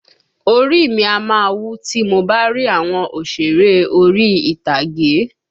Orí i mi a máa wú tí mo bá rí àwọn òsèré orí ìtàgé